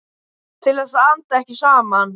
Til þess að anda ekki saman.